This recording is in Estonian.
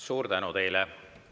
Suur tänu teile!